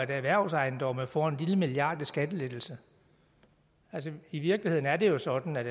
af erhvervsejendomme får en lille milliard kroner i skattelettelse altså i virkeligheden er det jo sådan at